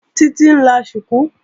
Títí ń la ṣùkú